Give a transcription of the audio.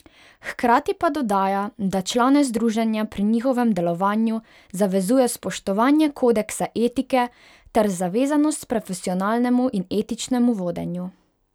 Hkrati pa dodaja, da člane združenja pri njihovem delovanju zavezuje spoštovanje Kodeksa etike ter zavezanost profesionalnemu in etičnemu vodenju.